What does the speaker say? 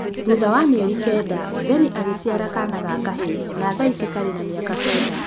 Thutha wa mĩeri kenda Vennie agĩciara kaana ga kahĩĩ na thaici karĩ na mĩaka kenda